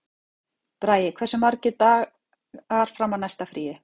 Bragi, hversu margir dagar fram að næsta fríi?